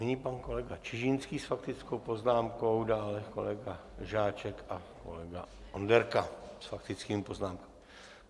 Nyní pan kolega Čižinský s faktickou poznámkou, dále kolega Žáček a kolega Onderka s faktickými poznámkami.